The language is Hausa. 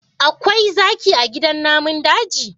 Akwai zaki a gidan namun daji?